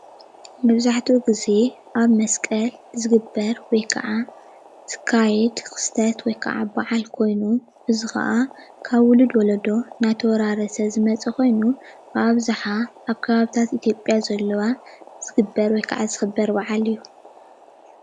መብዛሕቲኡ ግዝየ ኣብ መስቀል ዝግበር ወይ ከዓ ዝካየድ ክስተት ወይ ከዓ በዓል ኮይኑ እዚ ከዓ ካብ ዉሉድ ወለዶ እናተወራረሰ ዝመፀ ኮይኑ ብኣብዝሓ ኣብ ከባብታት ኢትዮጲያ ዘለዋ ዝግበር ወይ ከዓ ዝክበር በዓል እዩ ።